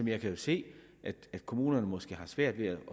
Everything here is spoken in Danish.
jeg kan jo se at kommunerne måske har svært ved at